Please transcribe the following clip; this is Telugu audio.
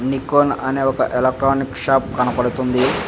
అనే ఒక ఎలక్ట్రానిక్ షాప్ కనపడుతుంది .